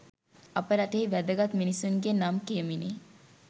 අප රටෙහි වැදගත් මිනිසුන්ගේ නම් කියමිනි.